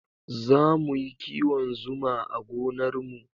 Zamu yi kiwon Zuma a gonar mu